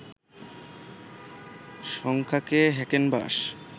সংখ্যাকে হ্যাকেনবাশ